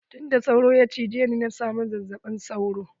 Tunda sauro ya cije ni na samu zazzaɓin sauro.